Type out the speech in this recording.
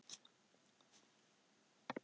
Skjöldur, spilaðu lag.